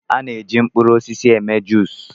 A na-eji mkpụrụ osisi eme jụis.